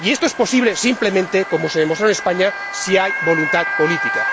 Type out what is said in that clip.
Y esto es posible, simplemente, como se demostró en España, si hay voluntad política.